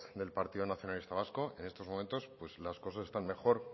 del partido nacionalista vasca en estos momentos las cosas están mejor